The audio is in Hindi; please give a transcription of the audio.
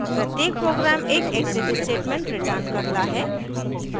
प्रत्येक program एक exit status returns करता है